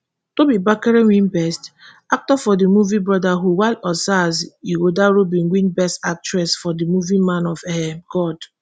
tobi bakre win best actor for di movie brotherhood while osas ighodaro bin win best actress for di movie man of um god.